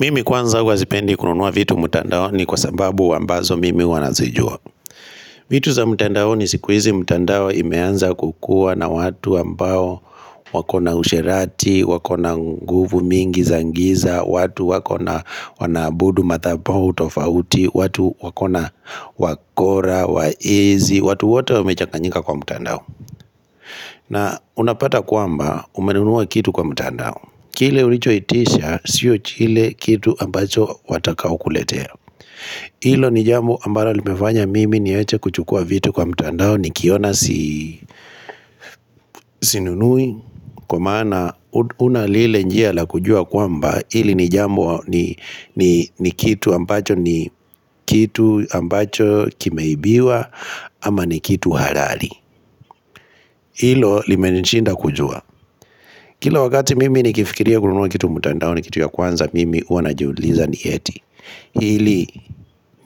Mimi kwanza huwa sipendi kununua vitu mtandaoni kwa sababu ambazo mimi huwa nazijua vitu za mtandaoni siku hizi mtandao imeanza kukuwa na watu ambao wako na usherati, wako na nguvu mingi za giza, watu wako na wanaabudu madhabau tofauti, watu wako na wakora, wezi, watu wote wamechanganyika kwa mtandao na unapata kwamba umenunua kitu kwa mtandao kile ulichoitisha siyo kile kitu ambacho watakaokuletea Hilo ni jambo ambalo limefanya mimi niwache kuchukua vitu kwa mtandao nikiona sinunui kwa maana huna lile njia la kujua kwamba hili ni jambo ni kitu ambacho ni kitu ambacho kimeibiwa ama ni kitu halali Hilo limenishinda kujua. Kila wakati mimi nikifikiria kunua kitu mtandaoni kitu ya kwanza mimi huwa najiuliza ni eti hili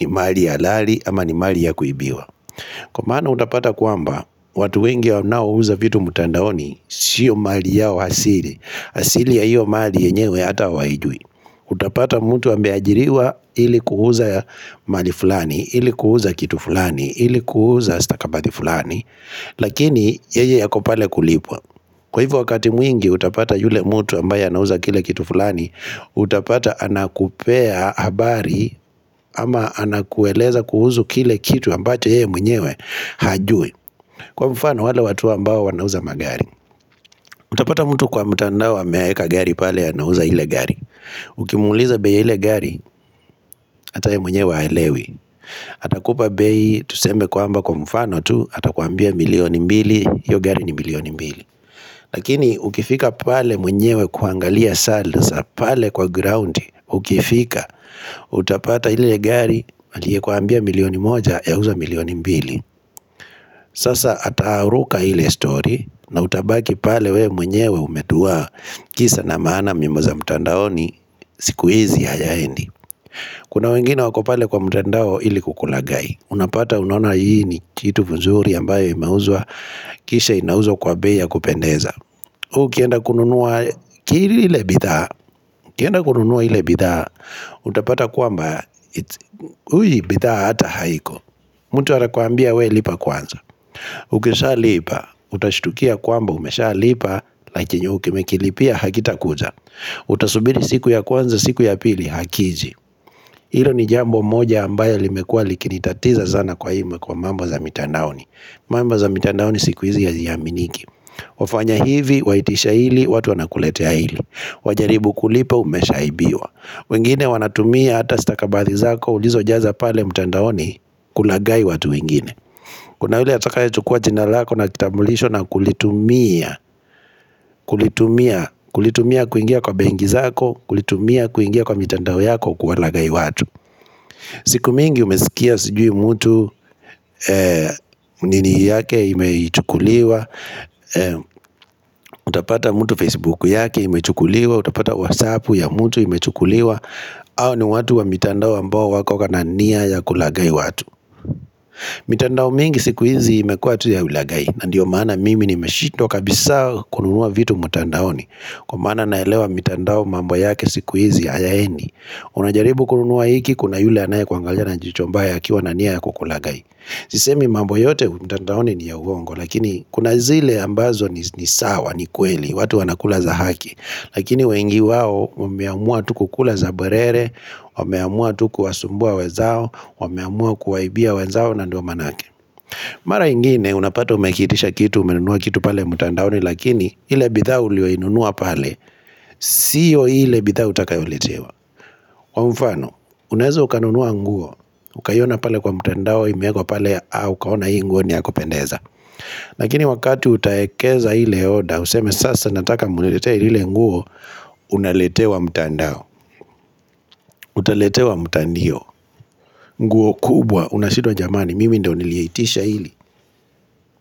ni mali halali ama ni mali ya kuibiwa Kwa maana utapata kwamba watu wengi wanaouza vitu mtandaoni siyo mali yao asili. Asili ya hiyo mali yenyewe hata hawaijui Utapata mtu ameajiriwa ili kuuza mali fulani ili kuuza kitu fulani ili kuuza stakabadhi fulani Lakini yeye ako pale kulipwa. Kwa hivyo wakati mwingi utapata yule mtu ambaye anauza kile kitu fulani, utapata anakupea habari ama anakueleza kuhusu kile kitu ambacho yeye mwenyewe hajui. Kwa mfano wale watu ambao wanauza magari. Utapata mtu kwa mtandao ameweka gari pale anauza ile gari. Ukimuuliza bei ya ile gari, hata yeye mwenye haelewi. Atakupa bei tuseme kwamba kwa mfano tu, atakuambia milioni mbili, hiyo gari ni milioni mbili. Lakini ukifika pale mwenyewe kuangalia sasa, pale kwa ground, ukifika, utapata ile gari aliyekuambia milioni moja yauzwa milioni mbili. Sasa ataruka ile story, na utabaki pale wewe mwenyewe umeduwaa, kisa na maana miombo za mtandaoni siku hizi hayaendi. Kuna wengine wako pale kwa mtandao ili kukulaghai. Unapata unaona hii ni kitu mzuri ambayo imeuzwa, kisha inauzwa kwa bei ya kupendeza. Wewe ukienda kununua ile bidhaa ukienda kununua ile bidhaa utapata kwamba hii bidhaa hata haiko mtu anakuambia wewe lipa kwanza Ukishalipa utashtukia kwamba umeshalipa na chenye umekilipia hakitakuja Utasubiri siku ya kwanza siku ya pili hakiji Hilo ni jambo moja ambayo limekua likinitatiza sana kwa hii kwa mambo za mitandaoni. Mambo za mitandaoni siku hizi haziaminiki wafanya hivi, waitisha hili, watu wanakuletea hili. Wajaribu kulipa umeshaibiwa. Wengine wanatumia hata stakabathi zako ulizojaza pale mtandaoni kulaghai watu wengine Kuna ule atakayechukua jina lako na kitambulisho na kulitumia kulitumia kulitumia kuingia kwa benki zako kulitumia kuingia kwa mitandao yako kuwalaghai watu siku mingi umesikia sijui mtu nini yake imechukuliwa. Utapata mtu Facebook yake imechukuliwa. Utapata WhatsApp ya mtu imechukuliwa hao ni watu wa mitandao ambao wako na nia ya kulaghai watu mitandao mingi siku hizi imekuwa tu ya ulaghai. Na ndiyo maana mimi nimeshindwa kabisa kununua vitu mtandaoni kwa maana naelewa mitandao mambo yake siku hizi hayaendi. Unajaribu kununua hiki kuna yule anayekuangalja na jicho mbaya akiwa na nia ya kukulaghai Sisemi mambo yote mtandaoni ni ya uongo lakini kuna zile ambazo ni sawa ni kweli watu wanakula za haki. Lakini wengi wao wameamua tu kukula za bwerere wameamua tu kuwasumbua wenzao wameamua kuwaibia wenzao na ndiyo maanake Mara ingine unapata umekiitisha kitu umenunua kitu pale mtandaoni lakini ile bidhaa uliyoinunua pale Siyo ile bidhaa utakayoletewa. Kwa mfano, unaweza ukanunua nguo, ukaiona pale kwa mtandao imewekwa pale, aa, ukaona hii nguo ni ya kupendeza Lakini wakati utaekeza hile oda, useme sasa nataka muniletee ile nguo, unaletewa mtandao, utaletewa mtandio nguo kubwa, unashindwa jamani, mimi ndiyo niliyeitisha hili.